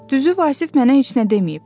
Düzü Vasif mənə heç nə deməyib.